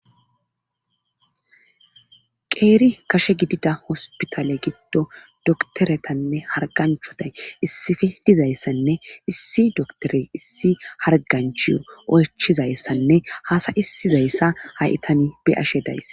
qeeri kashe gidida hospitale giddo doktoretanne harganchoday issife dizayssanne issi doktore issi harganchiyo oychizayssanne haasayisizayssa hayitani beyashe daysse